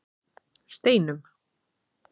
Steinum